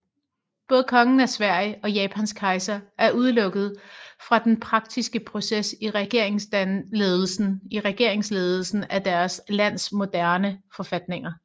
Både Kongen af Sverige og Japans kejser er udelukket fra den praktiske proces i regeringsledelsen af deres landes moderne forfatninger